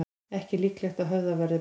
Ekki líklegt að höfðað verði mál